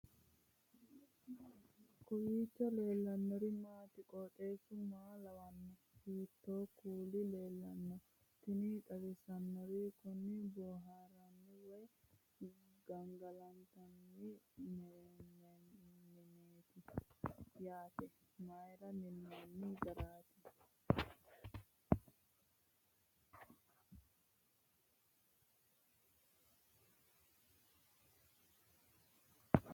kowiicho leellannori maati ? qooxeessu maa lawaanno ? hiitoo kuuli leellanno ? tini xawissannori kuni boohaarranni woy sagale intanni mineeti yaate mayra minnoonni garaati